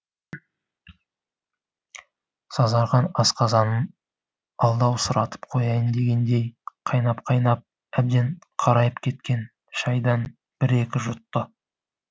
сазарған асқазанын алдаусыратып қояйын дегендей қайнап қайнап әбден қарайып кеткен шайдан бір екі жұтты